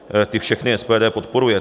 Ty všechny SPD podporuje.